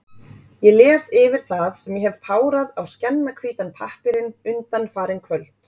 Ég les yfir það, sem ég hef párað á skjannahvítan pappírinn undanfarin kvöld.